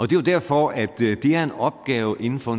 det er derfor at det er en opgave inden for